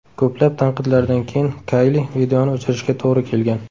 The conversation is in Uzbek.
Ko‘plab tanqidlardan keyin Kayli, videoni o‘chirishiga to‘g‘ri kelgan.